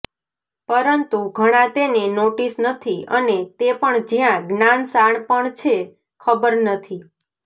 પરંતુ ઘણા તેને નોટિસ નથી અને તે પણ જ્યાં જ્ઞાન શાણપણ છે ખબર નથી